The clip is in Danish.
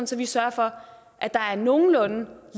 så vi sørger for at der er nogenlunde